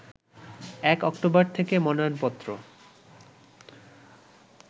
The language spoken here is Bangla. ১ অক্টোবর থেকে মনোনয়নপত্র